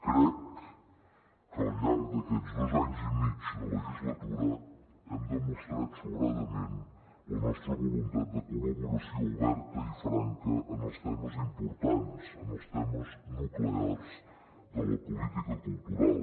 crec que al llarg d’aquests dos anys i mig de legislatura hem demostrat sobradament la nostra voluntat de col·laboració oberta i franca en els temes importants en els temes nuclears de la política cultural